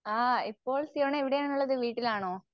ആഹ് ഇപ്പോൾ സിയോണ എവിടെയാണുള്ളത് വീട്ടിലാണോ?